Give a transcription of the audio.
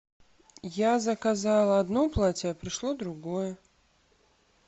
я заказала одно платье а пришло другое